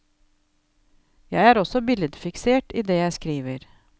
Jeg er også billedfiksert i det jeg skriver.